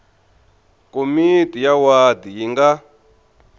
komiti ya wadi yi nga